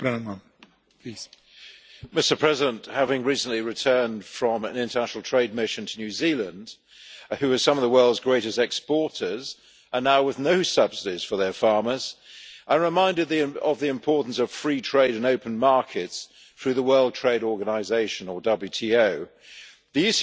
Mr President, having recently returned from an international trade mission to New Zealand, a country that is among the world's greatest exporters, and now with no subsidies for its farmers, I reminded them of the importance of free trade and open markets through the World Trade Organization The